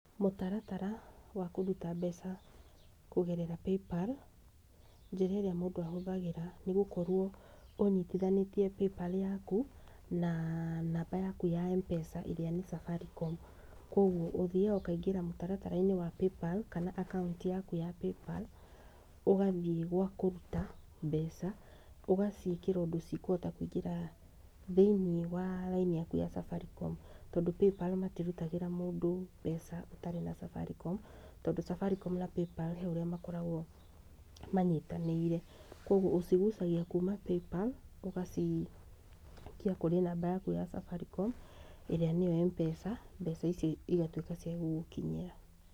Mũtaratara wa kũruta mbeca kũgerera Paypal, njĩra ĩrĩa mũndũ ahũthagĩra nĩ gũkorwo ũnyitithanĩtie Paypal yaku na namba yaku ya Mpesa ĩrĩa nĩ Safaricom, kogwo ũthiaga mũtaratara wa Paypal, kana akaũnti yaku ya Paypal, ũgathiĩ gwa kũruta, ũgaciĩkĩra ũndũ cikũhota kũingĩra thĩiniĩ wa raini ya Safaricom, tondũ Paypal matirutagĩra mũndũ mbeca ũtarĩ na Safaricom, tondũ Safaricom na Paypal harĩ ũrĩa makoragwo manyitanĩire, kogwo ũcigucagia kuma Paypal, ũgacikia namba-inĩ yaku ya Safaricom, ĩrĩa nĩyo Mpesa mbeca icio igatuĩka cia gũgũkinyĩra.